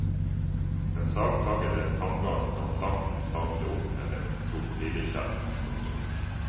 Den sagtaggete tanngarden kan saktens hamle opp med en krokodillekjeft. punktum